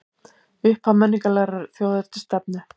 Upphaf menningarlegrar þjóðernisstefnu